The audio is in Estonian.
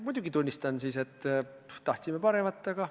Muidugi ma tunnistan siis, et tahtsime paremat, aga ...